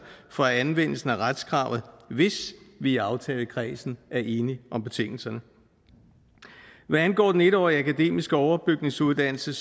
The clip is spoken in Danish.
for anvendelsen af retskravet hvis vi i aftalekredsen er enige om betingelserne hvad angår den en årige akademiske overbygningsuddannelse